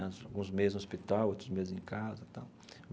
Alguns meses no hospital, outros meses em casa tal.